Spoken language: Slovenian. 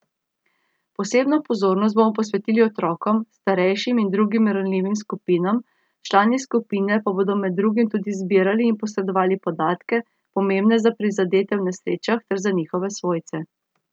Posebno pozornost bodo posvetili otrokom, starejšim in drugim ranljivim skupinam, člani skupine pa bodo med drugim tudi zbirali in posredovali podatke, pomembne za prizadete v nesrečah ter za njihove svojce.